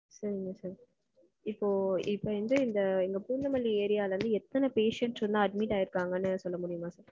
சொல்லுங்க sir. இப்போ இப்போ வந்து இந்த பூந்தமல்லி area ல இருந்து எத்தன patients வந்து admit ஆயிருக்காங்கனு சொல்ல முடியுமா sir?